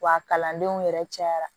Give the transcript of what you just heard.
Wa kalandenw yɛrɛ cayara